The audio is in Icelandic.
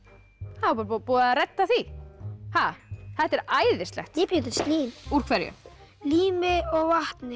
þá er bara búið búið að redda því þetta er æðislegt ég bjó til slím úr hverju lími og vatni